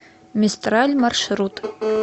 мистраль маршрут